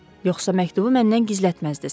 Yoxsa məktubu məndən gizlətməzdiniz?